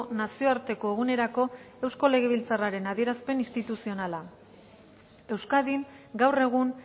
nazioarteko egunerako eusko legebiltzarraren adierazpen instituzionala euskadin gaur egun